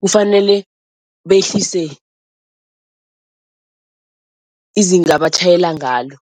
Kufanele behlise izinga abatjhayela ngalo